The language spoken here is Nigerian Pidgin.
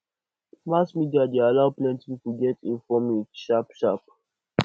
mass media dey allow plenty pipo get informa sharp sharp